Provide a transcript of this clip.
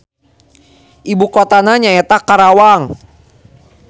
Ibukotana nyaeta Karawang.